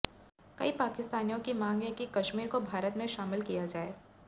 कई पाकिस्तानियों की मांग है कि कश्मीर को भारत में शामिल किया जाए